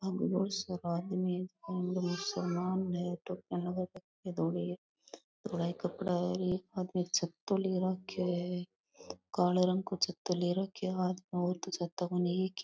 आगे बहुत सारा आदमी टोपियां लगा रखी है धोली धोला कपडा है और एक आदमी छातो ले रखयो है कालो रंग का छातो ले रखयो है हाथ में और तो छत्तो कोनी एक ही।